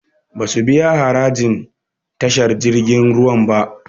Basu biya harajin tashar jirgin ruwan ba